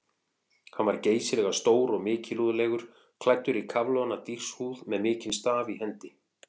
Hann var geysilega stór og mikilúðlegur, klæddur í kafloðna dýrshúð með mikinn staf í hendi.